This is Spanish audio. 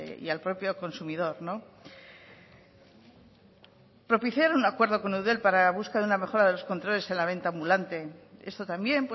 y al propio consumidor propiciar un acuerdo con eudel para la busca de una mejora de los controles en la venta ambulante esto también